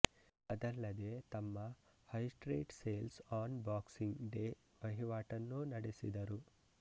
ಅದಲ್ಲದೇ ತಮ್ಮ high street sales on boxing day ವಹಿವಾಟನ್ನೂ ನಡೆಸಿದರು